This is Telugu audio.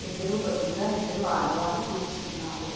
ఎదురు బెదురుగా ఇద్దరు ఆడవాళ్ళూ కూర్చున్నారు